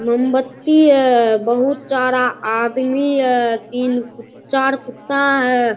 मोमबत्ती है बहुत सारा आदमी हैं तीन चार कुत्ता है।